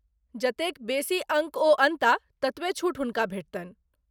जतेक बेसी अङ्क ओ अनताह ततबे छूट हुनका भेटतनि।